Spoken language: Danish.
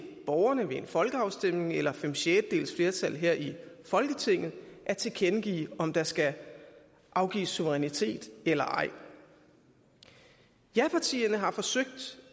borgerne ved en folkeafstemning eller fem sjettedels flertal her i folketinget at tilkendegive om der skal afgives suverænitet eller ej japartierne har forsøgt